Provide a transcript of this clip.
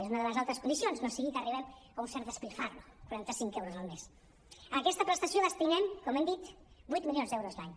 és una de les altres condicions no sigui que arribem a un cert malbaratament quaran·ta·cinc euros al mes a aquesta prestació destinem com hem dit vuit milions d’euros l’any